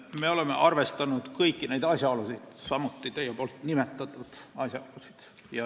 Me oleme arvestanud kõikvõimalikke asjaolusid, sh teie nimetatud asjaolusid.